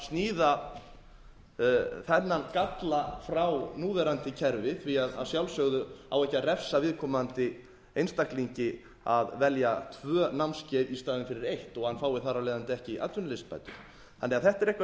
sníða þennan galla frá núverandi kerfi því að sjálfsögðu á ekki að refsa viðkomandi einstaklingi að velja tvö námskeið í staðinn fyrir eitt og hann fái þar af leiðandi ekki atvinnuleysisbætur þetta er eitthvað